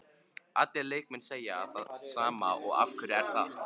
Allir leikmenn segja það sama og af hverju er það?